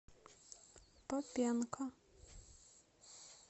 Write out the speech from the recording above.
попенко